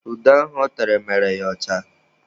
Ude ahụ ọ tere mere ya ọcha.